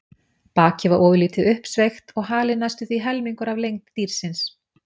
Bakið var ofurlítið uppsveigt og halinn næstum því helmingurinn af lengd dýrsins.